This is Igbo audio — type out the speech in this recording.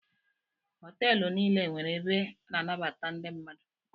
Họtelụ niile nwere ebe a na-anabata ndị mmadụ.